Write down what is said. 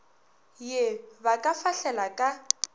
ye ba ka fahlela ka